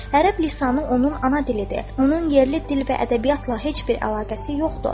"Ərəb lisanı onun ana dilidir, onun yerli dil və ədəbiyyatla heç bir əlaqəsi yoxdur."